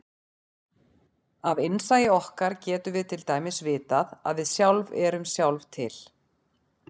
Af innsæi okkar getum við til dæmis vitað að við sjálf erum sjálf til.